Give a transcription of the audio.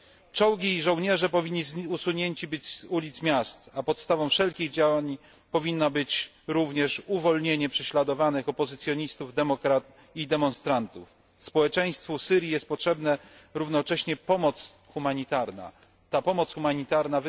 Czołgi i żołnierze powinni zostać usunięci z ulic miast, a podstawą wszelkich działań powinno być również uwolnienie prześladowanych opozycjonistów i demonstrantów. Społeczeństwu Syrii jest jednocześnie potrzebna pomoc humanitarna.